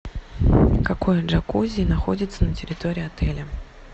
какое джакузи находится на территории отеля